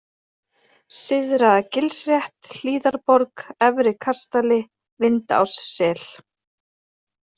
Syðra-Gilsrétt, Hlíðarborg, Efri-Kastali, Vindássel